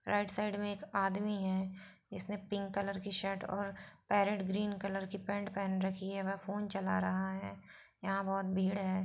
Right side मे एक आदमी है इसने पिंक कलर की शर्ट और पैरेट ग्रीन कलर की एक पेंट पहन रखी है वो फोन चला रहा है यहां बहुत भीड़ है।